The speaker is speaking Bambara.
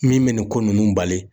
Min bɛ nin ko ninnu bali